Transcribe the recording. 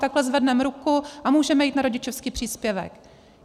Takhle zvedneme ruku a můžeme jít na rodičovský příspěvek.